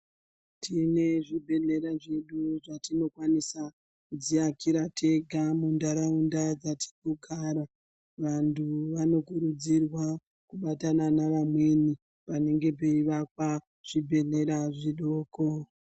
Tine zvibhedhlera zvedu zvatinokwanisa kudziakira tega muntaraunda dzatinogara. Vantu vanokuridzirwa kubatana navamweni panenge peivakwa zvibhedhlera zvidoko.